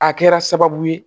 A kɛra sababu ye